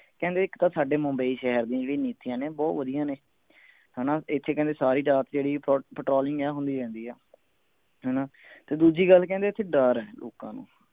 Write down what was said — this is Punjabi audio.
ਕਹਿੰਦੇ ਇਕ ਤਾਂ ਸਾਡੇ ਮੁੰਬਈ ਸ਼ਹਿਰ ਦੀਆਂ ਜਿਹੜੀਆਂ ਨੀਤੀਆਂ ਨੇ ਬਹੁਤ ਵਧੀਆ ਨੇ ਹਣਾ ਇਥੇ ਸਾਰੀ ਰਾਤ ਜਿਹੜੀ patrolling ਇਹ ਹੁੰਦੀ ਹੈ ਹਣਾ ਤੇ ਦੂਜੀ ਗੱਲ ਕਹਿੰਦੇ ਇਥੇ ਡਰ ਹੈ ਲੋਕਾਂ ਨੂੰ